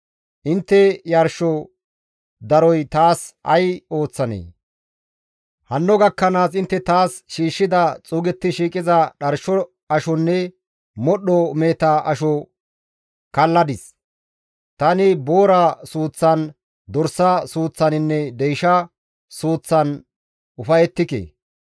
«Intte yarsho daroy taas ay ooththanee? Hanno gakkanaas intte taas shiishshida xuugetti shiiqiza dharsho ashonne modhdho meheta asho kalladis; tani boora suuththan, dorsa suuththaninne deysha suuththan ufayettike.